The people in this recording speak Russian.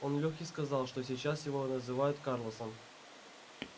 он лехе сказал что сейчас его называют карлосом